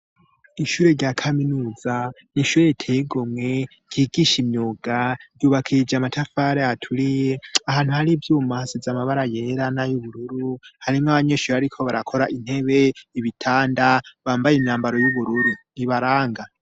Ishure rya kaminuza, n'ishure riteye igomwe ryigisha imyunga ryubakishijwe amatafari aturiye, ahantu hari ivyuma hasize amabara yera nay'ubururu, hariho nabanyeshure bariko barakora intebe, ibitanda, bambaye imyambaro y'ubururu bibaraga.